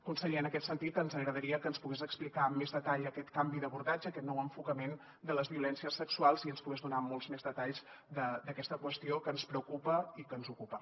conseller en aquest sentit ens agradaria que ens pogués explicar amb més detall aquest canvi d’abordatge aquest nou enfocament de les violències sexuals i ens pogués donar molts més detalls d’aquesta qüestió que ens preocupa i que ens ocupa